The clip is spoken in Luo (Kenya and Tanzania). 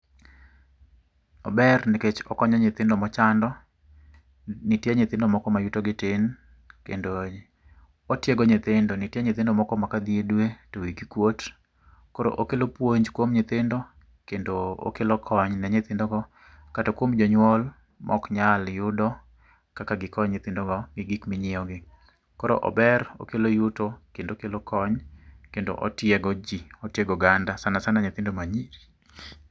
Ober nikech okonyo nyithindo mochando, nitie nyithindo moko ma yuto gi tin. Kendo, otiego nyithindo. Nitie nyithindo moko ma kadhi e dwe to wigi kuot. Koro okelo puonj kuom nyithindo kendo, okelo kony ne nyinthindogo, kata kuom jonyuol mok nyal yudo kaka gikony nyithindogo gi gik minyiew gi. Koro ober, okelo yuto kendo okelo kony, kendo otiego ji. Otiego oganda sanasana nyithindo ma nyiri